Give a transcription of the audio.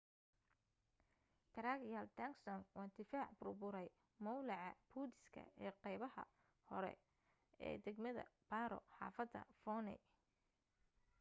drukgyal dzong waa difaac bur buray mowlaca budiiska ee qeybaha kore ee dagmada paro xaafadda phondey